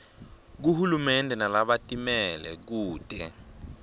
kuhulumende nalabatimele kute